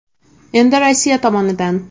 Endi Rossiya tomonidan.